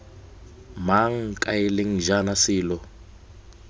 mang kae leng jang selo